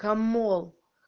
камол